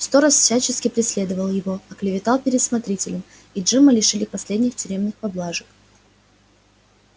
сторож всячески преследовал его оклеветал перед смотрителем и джима лишили последних тюремных поблажек